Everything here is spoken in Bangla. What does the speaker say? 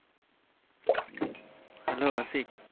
hello আশিক